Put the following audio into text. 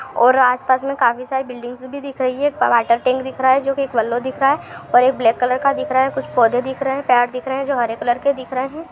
और आस पास में काफी सारी बिल्डिंगस भी दिख रही है एक वाटर टैंक दिख रहा है जो कि येल्लो दिख रहा है और एक ब्लैक कलर का दिख रहा है कुछ पौधे दिख रहे हैं पैर दिख रहे हैं जो हरे कलर के दिख रहे हैं।